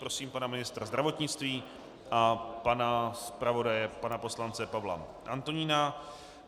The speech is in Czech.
Prosím pana ministra zdravotnictví a pana zpravodaje pana poslance Pavla Antonína.